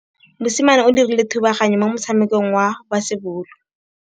Mosimane o dirile thubaganyô mo motshamekong wa basebôlô.